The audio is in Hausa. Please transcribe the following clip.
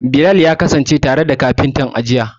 Bilal ya kasance tare da kafintan, a jiya.